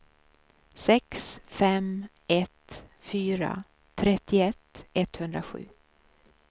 sex fem ett fyra trettioett etthundrasju